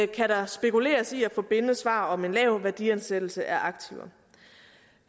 kan der spekuleres i at få bindende svar om en lav værdiansættelse af aktiver